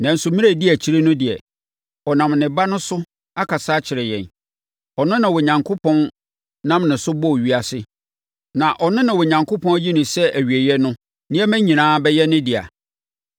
Nanso, mmerɛ a ɛdi akyire no deɛ, ɔnam ne Ba no so akasa akyerɛ yɛn. Ɔno na Onyankopɔn nam ne so bɔɔ ewiase. Na ɔno na Onyankopɔn ayi no sɛ awieeɛ no, nneɛma nyinaa bɛyɛ ne dea.